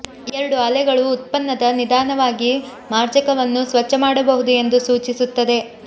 ಎರಡು ಅಲೆಗಳು ಉತ್ಪನ್ನದ ನಿಧಾನವಾಗಿ ಮಾರ್ಜಕವನ್ನು ಸ್ವಚ್ಛ ಮಾಡಬಹುದು ಎಂದು ಸೂಚಿಸುತ್ತದೆ